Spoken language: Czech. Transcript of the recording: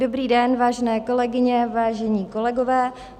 Dobrý den, vážené kolegyně, vážení kolegové.